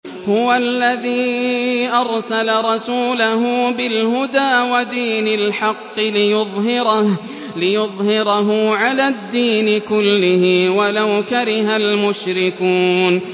هُوَ الَّذِي أَرْسَلَ رَسُولَهُ بِالْهُدَىٰ وَدِينِ الْحَقِّ لِيُظْهِرَهُ عَلَى الدِّينِ كُلِّهِ وَلَوْ كَرِهَ الْمُشْرِكُونَ